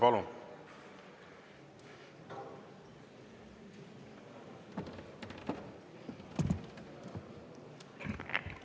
Palun!